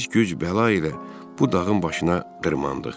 Biz güc bəla ilə bu dağın başına dırmandıq.